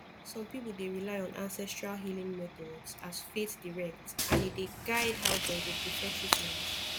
some people dey rely on ancestral healing methods as faith direct and e dey guide how dem go prefer treatment